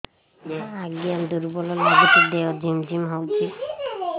ଆଜ୍ଞା ଦୁର୍ବଳ ଲାଗୁଚି ଦେହ ଝିମଝିମ ହଉଛି